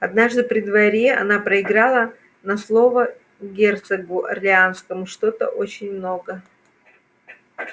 однажды при дворе она проиграла на слово герцогу орлеанскому что-то очень много